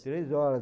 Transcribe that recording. Três horas.